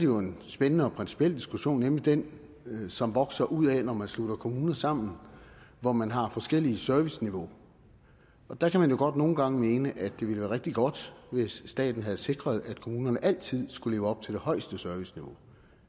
jo en spændende og principiel diskussion nemlig den som vokser ud af at man slutter kommuner sammen hvor man har forskelligt serviceniveau der kan man jo godt nogle gange mene at det ville være rigtig godt hvis staten havde sikret at kommunerne altid skulle leve op til det højeste serviceniveau